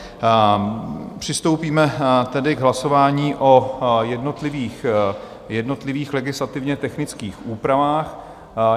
Přistoupíme tedy k hlasování o jednotlivých legislativně technických úpravách.